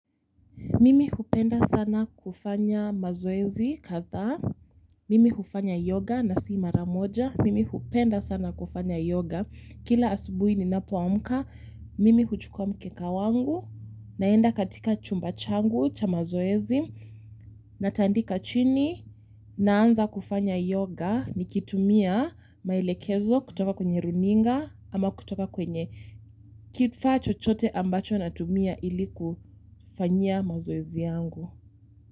Mimi hupenda sana kufanya mazoezi kadha, mimi hufanya yoga na si mara moja, mimi hupenda sana kufanya yoga, kila asubuhi ninapoamka, mimi huchukua mkeka wangu, naenda katika chumba changu cha mazoezi, natandika chini, naanza kufanya yoga ni kitumia maelekezo kutoka kwenye runinga, ama kutoka kwenye kifaa chochote ambacho natumia ilikufanyia mazoezi yangu.